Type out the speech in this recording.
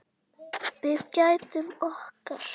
Við gætum okkar.